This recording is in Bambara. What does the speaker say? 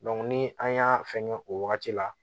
ni an y'a fɛngɛ o wagati la